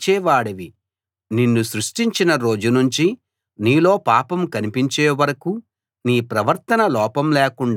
నిన్ను సృష్టించిన రోజునుంచి నీలో పాపం కనిపించే వరకూ నీ ప్రవర్తన లోపం లేకుండా ఉంది